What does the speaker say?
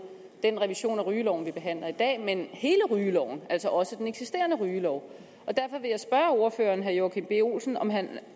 den revision af rygeloven vi behandler i dag men hele rygeloven altså også den eksisterende rygelov og derfor vil jeg spørge ordføreren herre joachim b olsen om han